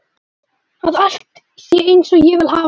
Að allt sé einsog ég vil hafa það.